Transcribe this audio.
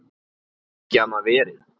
Getur ekki annað verið.